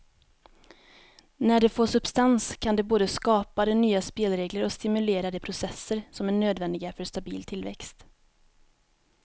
När det får substans kan det både skapa de nya spelregler och stimulera de processer som är nödvändiga för stabil tillväxt.